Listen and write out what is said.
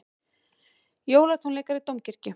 Jólatónleikar í Dómkirkju